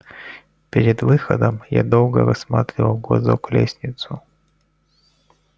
перед выходом я долго рассматривал в глазок лестницу